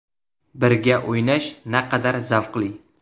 Birga o‘ynash naqadar zavqli!